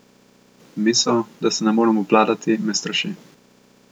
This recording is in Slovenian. Misel, da se ne morem obvladati, me straši.